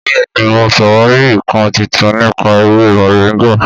Bẹ́ẹ̀ni, mò sàwárì ìkán titun nípà ẹwẹ mọ̀ríngà.